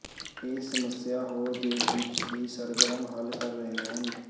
ਇਹ ਸਮੱਸਿਆ ਹੋਰ ਦੇਸ਼ ਵਿੱਚ ਹੀ ਸਰਗਰਮ ਹੱਲ ਕਰ ਰਹੇ ਹਨ